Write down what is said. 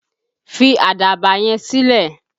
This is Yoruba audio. Fi àdàbà yẹn sílẹ̀!